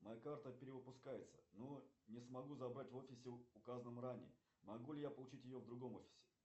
моя карта перевыпускается но не смогу забрать в офисе указанном ранее могу ли я получить ее в другом офисе